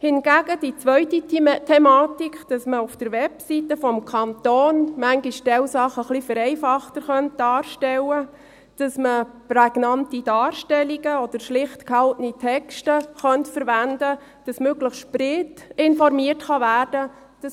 Hingegen unterstützen wir die zweite Thematik, wonach man gewisse Sachen auf der Webseite des Kantons manchmal etwas vereinfachter darstellen und prägnante Darstellungen oder schlicht gehaltene Texte verwenden könnte, damit möglichst breit informiert werden kann.